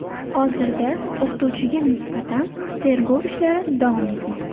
Hozirda o‘qituvchiga nisbatan tergov ishlari davom etmoqda.